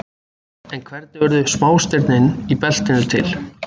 En hvernig urðu smástirnin í beltinu til?